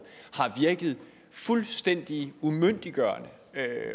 har virket fuldstændig umyndiggørende